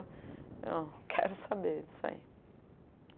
Eu não quero saber disso aí.